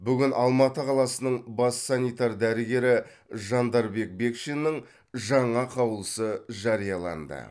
бүгін алматы қаласының бас санитар дәрігері жандарбек бекшиннің жаңа қаулысы жарияланды